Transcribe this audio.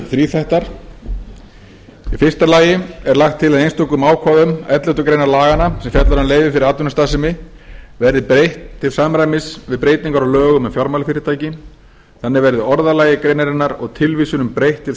þríþættar í fyrsta lagi er lagt til að einstökum ákvæðum elleftu grein laganna sem fjallar um leyfi fyrir atvinnustarfsemi verði breytt til samræmis við breytingar álögum um fjármálafyrirtæki þannig verði orðalagi greinarinnar og tilvísunum breytt til